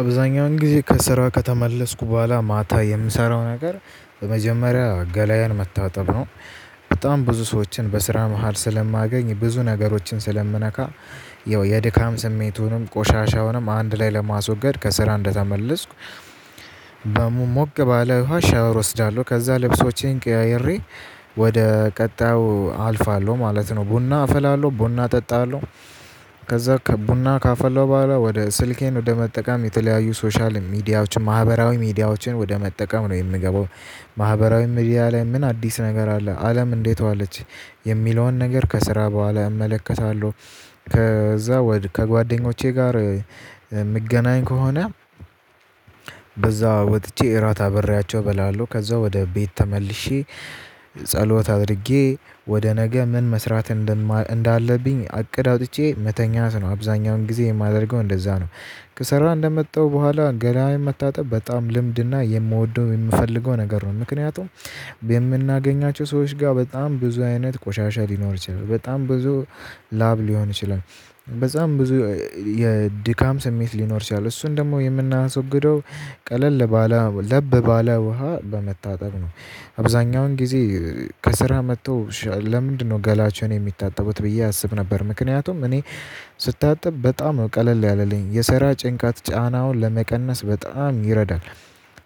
አብዛኛውን ጊዜ ከስራ ከተመለስኩ በኋላ ማታ የምሰራው ነገር በመጀመሪያ ገላዬን መታጠብ ነው። በጣም ብዙ ሰዎችን በስራ መሃል ስለማገኝ ብዙ ነገሮችን ስለምነካ። ያው የድካም ስሜቱንም ቆሻሻውንም አንድ ላይ ለማስወገድ ከስራ እንደተመለስኩ። ሞቅ ባለ ውሃ ሻወር እወስዳለሁ ከዛ ልብሶቼን ቀያይሬ ወደ ቀጣዩ አልፋለሁ ማለት ነው። ቡና አፈላለሁ ቡና እጠጣለሁ። ከዛ ቡና ካፈለው በኋላ ወደ ስልኬን ወደ መጠቀም የተለያዩ ሶሻል ሚዲያዎችን ማህበራዊ ሚዲያዎችን ወደ መጠቀም ነው የምገባው። ማህበራዊ ሚዲያ ላይ ምን አዲስ ነገር አለ አለም እንዴት አለች? የሚለውን ነገር ከስራ በኋላ እመለከታለሁ። ከዛ ከጓደኞቼ ጋር የምገናኝ ከሆነ። ከዛ ወጥቼ እራት አብሬያቸው እበላለሁ ከዛ ወደ ቤት ተመልሼ ጸሎት አድርጌ ወደ ነገ ምን መስራት እንዳለብኝ አቅድ አውጥቼ መተኛት ነው። አብዛኛውን ጊዜ የማደርገው እንደዛ ነው። ከስራ እንደመጣው በኋላ ገላዬን መታጠብ በጣም ልምድና የምወደው የምፈልገው ነገር ነው። ምክንያቱም። የምናገኛቸው ሰዎች ጋር በጣም ብዙ አይነት ቆሻሻ ሊኖር ይችላል። በጣም ብዙ ላብ ሊሆን ይችላል። በጣም ብዙ የድካም ስሜት ሊኖር ይችላል እሱን ደግሞ የምናስወግደው ቀለል ባለ ለብ ባለ ውሃ በመታጠብ ነው። አብዛኛውን ጊዜ ከስራ መጥቶ ለምንድነው ገላቸውን የሚታጠቡት ብዬ አስብ ነበር። ምክንያቱም እኔ ስታጠብ በጣም ነው ቀለል ያለልኝ የስራ ጭንቀት ጫናውን ለመቀነስ በጣም ይረዳል።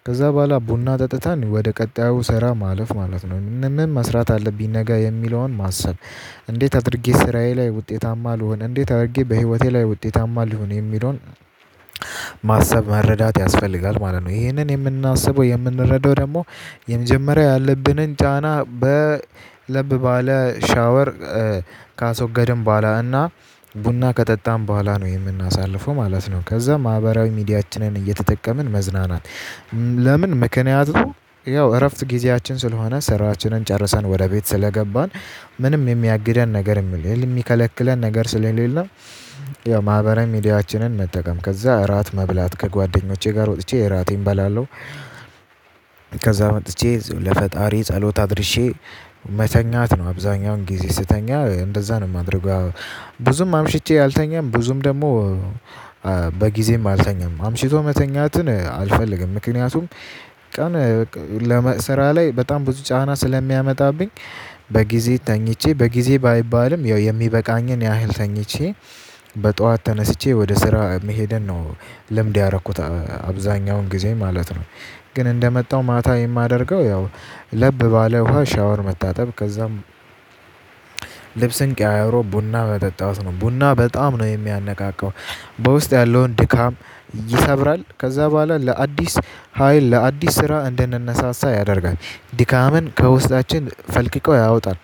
ከዛ በኋላ ቡና ጠጥተን ወደ ቀጣዩ ሰራ ማለፍ ማለት ነው። ምን ምን መስራት አለብኝ ነገ የሚለውን ማሰብ እንዴት አድርጌ ስራዬ ላይ ውጤታማ ልሁን እንዴት አድርጌ በህይወቴ ላይ ውጤት ታማል ልሁን የሚለውን ማሰብ መረዳት ያስፈልጋል ማለት ነው። ይሄንን የምናስበው የምንረዳው ደግሞ የመጀመሪያው ያለብንን ጫና። ለብ ባለ ሻወር ካስወገድን በኋላ እና ቡና ከጠጣን በኋላ ነው የምናሳልፈው ማለት ነው። ከዛ ማህበራዊ ሚዲያችንን እየተጠቀምን መዝናናት። ለምን ምክንያቱም ነው ያው እረፍት ጊዜያችን ስለሆነ ስራችንን ጨርሰን ወደ ቤት ስለገባን። ምንም የሚያግደን ነገር የሚከለክለን ነገር ስለሌለን። ያው ማህበራዊ ሚዲያችንን መጠቀም ከዛ እራት መብላት ከጓደኞቼ ጋር ወጥቼ እራቴን እበላለሁ። ከዛ መጥቼ ለፈጣሪዬ ጸሎት አድርሼ መተኛት ነው። አብዛኛውን ጊዜ ስተኛ እንደዛ ነው የማደርገው። ብዙም አምሽቼ አልተኛም ብዙም ደግሞ በጊዜም አልተኛም አምሽቶ መተኛትን አልፈልግም። ምክንያቱም ቀን ስራ ላይ በጣም ብዙ ጫና ስለሚያመጣብኝ። በጊዜ ተኝቼ በጊዜ ባይባልም የሚበቃኝን ያህል ተኝቼ። በጧት ተነስቼ ወደ ስራ መሄድን ነው ልምድ ያረኩት አብዛኛውን ጊዜ ማለት ነው። ግን እንደመጣው ማታ የማደርገው ያው ለብ ባለ ውሃ ሻወር መታጠብ ከዛም። ልብስን ቀያይሮ ቡና መጠጣት ነው ቡና በጣም ነው የሚያነቃቃው። በውስጥ ያለውን ድካም ይሰብራል ከዛ በኋላ ለአዲስ ሀይል ለአዲስ ስራ እንድንነሳሳ ያደርጋል ድካምን ከውስጣችን ፈልቅቆ ያወጣል።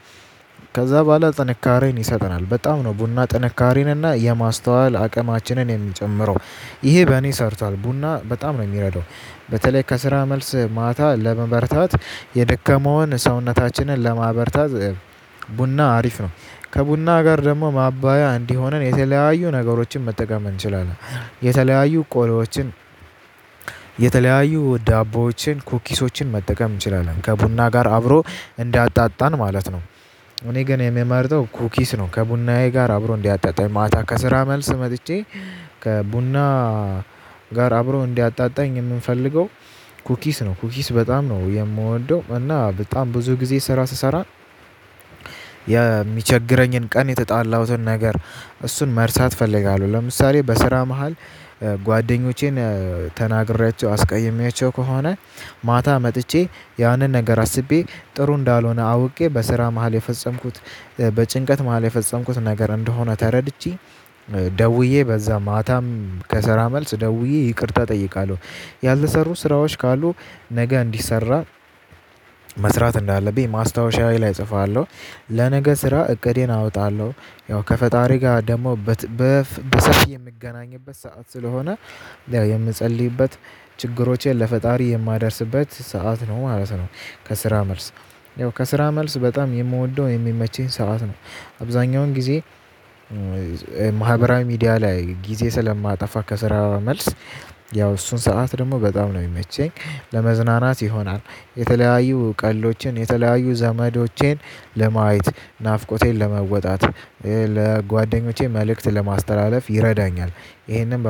ከዛ በኋላ ጥንካሬን ይሰጠናል በጣም ነው ቡና ጥንካሬን እና የማስተዋል አቅማችንን የሚጨምረው። ይሄ በእኔ ሰርቷል ቡና በጣም ነው የሚረዳው። በተለይ ከስራ መልስ ማታ ለመበርታት የደከመውን ሰውነታችንን ለማበርታት ቡና አሪፍ ነው። ከቡና ጋር ደግሞ ማባያ እንዲሆነን የተለያዩ ነገሮችን መጠቀም እንችላለን። የተለያዩ ቆሎዎችን የተለያዩ ዳቦዎችን ኩኪሶችን መጠቀም እንችላለን ከቡና ጋር አብሮ እንዲያጣጣን ማለት ነው። እኔ ግን የምመርጠው ኩኪስ ነው። ከቡናዬ ጋር አብሮ እንዲያጣጣኝ ማታ ከስራ መልስ መጥቼ ከቡና ጋር አብሮ እንዲያጣጣኝ የምፈልገው። ኩኪስ ነው ኩኪስ በጣም ነው የምወደው። እና በጣም ብዙ ጊዜ ስራ ስሰራ። የሚቸግረኝን ቀን የተጣላሁትን ነገር እሱን መርሳት እፈልጋለሁ። ለምሳሌ በስራ መሃል ጓደኞቼን ተናግሬያቸው አስቀይሜያቸው ከሆነ። ማታ መጥቼ ያንን ነገር አስቤ ጥሩ እንዳልሆነ አውቄ በስራ መሃል የፈጸምኩት በጭንቀት መሃል የፈጸምኩት ነገር እንደሆነ ተረድቼ ደውዬ በዛ ማታም ከስራ መልስ ደውዬ ይቅርታ እጠይቃለሁ። ያልተሰሩ ስራዎች ካሉ ነገ እንዲሰራ መስራት እንዳለብኝ ማስታወሻዬ ላይ እጽፋለሁ። ለነገ ስራ እቅዴን አወጣለሁ። ያው ከፈጣሪ ጋር ደግሞ በሰፊ የምገናኝበት ሰዓት ስለሆነ የምጸልይበት ችግሮቼን ለፈጣሪ የማደርስበት ሰዓት ነው ማለት ነው። ከስራ መልስ ያው ከስራ መልስ በጣም የምወደው የሚመቸኝ ሰዓት ነው። አብዛኛውን ጊዜ ማህበራዊ ሚዲያ ላይ ጊዜ ስለማጠፋ ከስራ መልስ ያው እሱን ሰዓት ደግሞ በጣም ነው የሚመቸኝ። ለመዝናናት ይሆናል። የተለያዩ ቀልዶችን የተለያዩ ዘመዶቼን ለማየት ናፍቆቴን ለመወጣት ለጓደኞቼ መልእክት ለማስተላለፍ ይረዳኛል። ይህንን